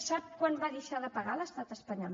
sap quant va deixar de pagar l’estat espanyol